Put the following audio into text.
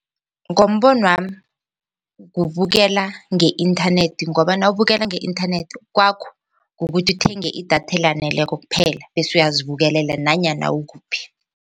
Ngombonwami kubukela nge-inthanethi ngoba nawubukela nge-inthanethi kwakho kukuthi uthenge idatha elaneleko kuphela bese uyazibukelela nanyana ukuphi.